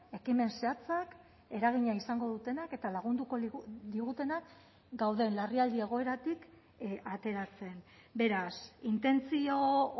ekimen zehatzak eragina izango dutenak eta lagunduko digutenak gauden larrialdi egoeratik ateratzen beraz intentzio